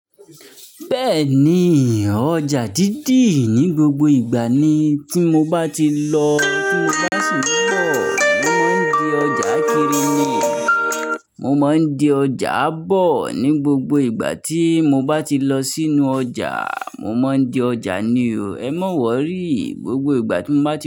Bẹ́ẹ̀ni, ọjà dídì ní gbogbo ìgbà ni. Tí mo bá ti lọ, tí mo bá sì ń bọ̀, mo máa ń di ọjà Kirini. Mo máa ń di ọjà ábọ̀ ní gbogbo ìgbà tí mo bá ti lọ sínú ọjà. Mo máa ń di ọjà ni o. Ẹ má wọrí, gbogbo ìgbà tí mo bá ti.